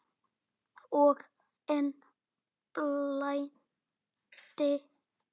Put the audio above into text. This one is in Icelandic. Og enn blæddi.